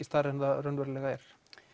stærra en það raunverulega er